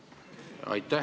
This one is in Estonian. Aitäh!